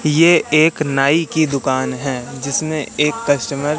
ये एक नाई की दुकान है जिसमें एक कस्टमर --